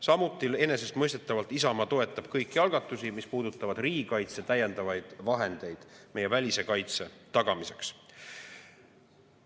Samuti enesestmõistetavalt Isamaa toetab kõiki algatusi, mis puudutavad riigikaitse täiendavaid vahendeid meie välise kaitse tagamiseks.